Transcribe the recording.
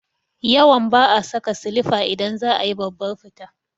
Yawan ba'a saka silifa idan za a yi babbar fita